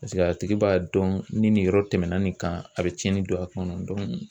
Paseke a tigi b'a dɔn ni nin yɔrɔ tɛmɛna nin kan a be cɛnni don a kɔnɔ dɔnku